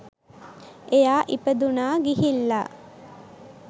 එයා ඉපදුනා ගිහිල්ලා